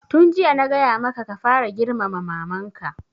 Tun jiya na gaya maka ka fara girmama maman ka!